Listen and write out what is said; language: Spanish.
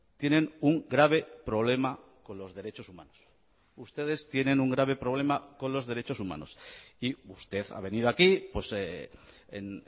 tienen un grave problema con los derechos humanos ustedes tienen un grave problema con los derechos humanos y usted ha venido aquí en